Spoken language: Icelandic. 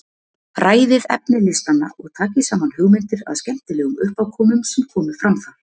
Ræðið efni listanna og takið saman hugmyndir að skemmtilegum uppákomum sem komu fram þar.